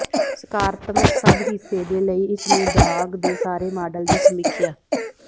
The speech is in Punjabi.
ਸਕਾਰਾਤਮਕ ਸਭ ਹਿੱਸੇ ਦੇ ਲਈ ਇਸ ਨੂੰ ਦਾਗ ਦੇ ਸਾਰੇ ਮਾਡਲ ਦੀ ਸਮੀਖਿਆ